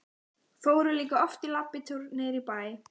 Fóru líka oft í labbitúr niður í bæ.